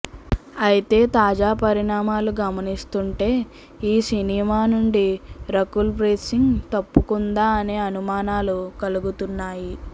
అయితే తాజా పరిణామాలు గమనిస్తుంటే ఈ సినిమా నుండి రకుల్ ప్రీత్ సింగ్ తప్పుకుందా అనే అనుమానాలు కలుగుతున్నాయి